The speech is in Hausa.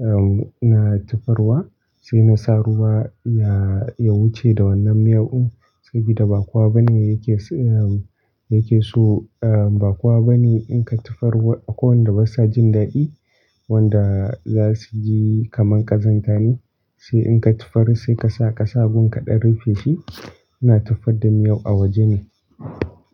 um, ina tofarwa sai na sa ruwa ya, ya wuce da wannan miyau un saboda ba kuwa bane yake, irin, yake so, um, ba kuwa bane in ka tofar akwai wanda ba sa jin daɗi wanda za su ji kamar ƙazanta ne. Sai in ka tofar sai ka sa ƙasa a gurin kaɗan rufe shi. Ina tufar da miyau a waje ne.